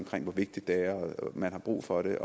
om hvor vigtigt det er og at man har brug for det